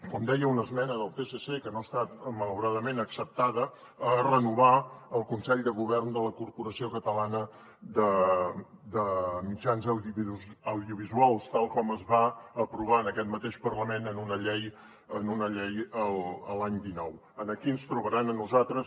com deia una esmena del psc que no ha estat malauradament acceptada a renovar el consell de govern de la corporació catalana de mitjans audiovisuals tal com es va aprovar en aquest mateix parlament en una llei l’any dinou aquí ens trobaran a nosaltres